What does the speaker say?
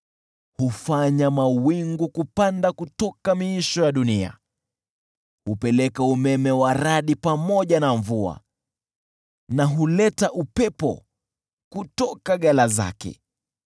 Hufanya mawingu kupanda kutoka miisho ya dunia; hupeleka umeme wa radi pamoja na mvua na huleta upepo kutoka ghala zake.